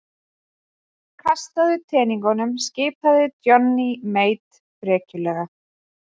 Kastaðu teningunum skipaði Johnny Mate frekjulega.